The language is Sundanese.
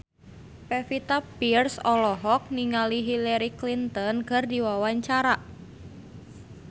Pevita Pearce olohok ningali Hillary Clinton keur diwawancara